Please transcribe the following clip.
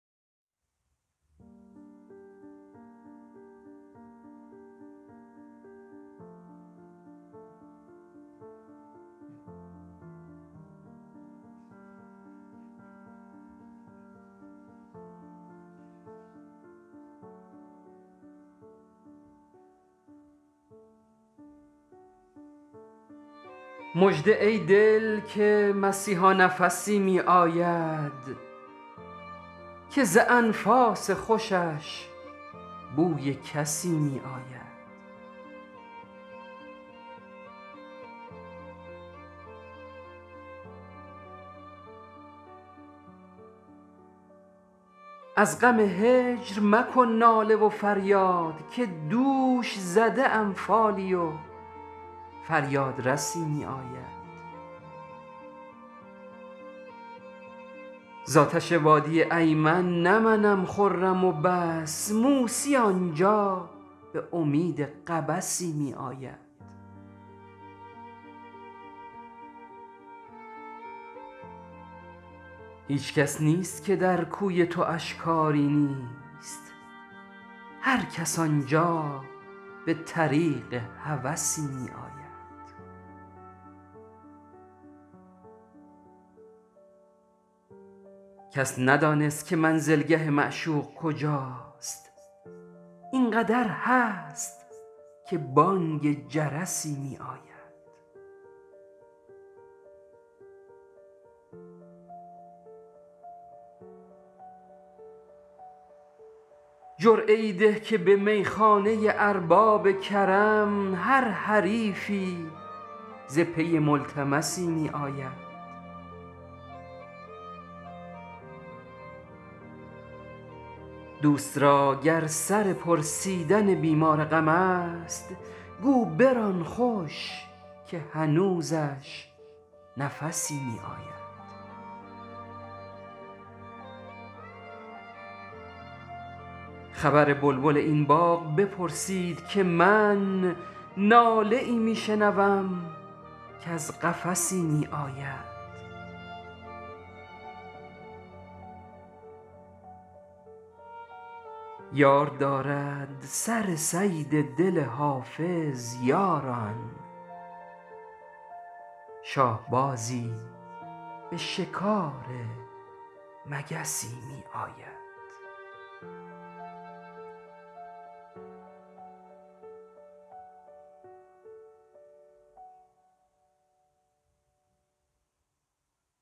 مژده ای دل که مسیحا نفسی می آید که ز انفاس خوشش بوی کسی می آید از غم هجر مکن ناله و فریاد که دوش زده ام فالی و فریادرسی می آید زآتش وادی ایمن نه منم خرم و بس موسی آنجا به امید قبسی می آید هیچ کس نیست که در کوی تواش کاری نیست هرکس آنجا به طریق هوسی می آید کس ندانست که منزلگه معشوق کجاست این قدر هست که بانگ جرسی می آید جرعه ای ده که به میخانه ارباب کرم هر حریفی ز پی ملتمسی می آید دوست را گر سر پرسیدن بیمار غم است گو بران خوش که هنوزش نفسی می آید خبر بلبل این باغ بپرسید که من ناله ای می شنوم کز قفسی می آید یار دارد سر صید دل حافظ یاران شاهبازی به شکار مگسی می آید